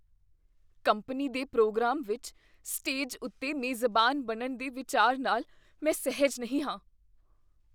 Company ਦੇ programme ਵਿੱਚ stage ਉੱਤੇ ਮੇਜ਼ਬਾਨ ਬਣਨ ਦੇ ਵਿਚਾਰ ਨਾਲ ਮੈਂ ਸਹਿਜ ਨਹੀਂ ਹਾਂ।